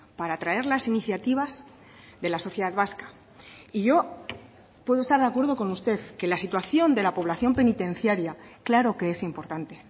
para traer las iniciativas de la sociedad vasca y yo puedo estar de acuerdo con usted que la situación de la población penitenciaria claro que es importante